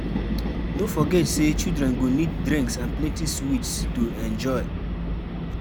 No forget say children go need drinks and plenty sweets to enjoy.